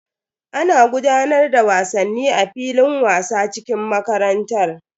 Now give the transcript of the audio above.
Ana gudanar da wasanni a filin wasa cikin makarantar.